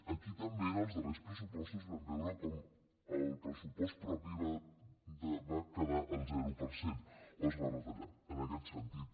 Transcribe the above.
aquí també en els darrers pressupostos vam veure com el pressupost propi va quedar al zero per cent o es va retallar en aquest sentit